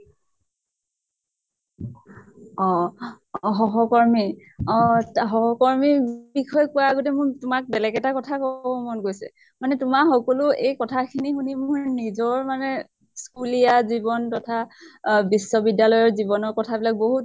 অহ সহকৰ্মি অহ তা সহকৰ্মিৰ বিষয়ে কোৱাৰ আগতে মোৰ তোমাক বেলেগ এটা কথা কবলৈ মন গৈছে। মানে তোমাৰ সকলো এই কথা খিনি শুনি মোৰ নিজৰ মানে স্কুলীয়া জীৱন তথা আহ বিশ্ব্বিদ্য়ালয়ৰ জীৱনৰ কথা বিলাক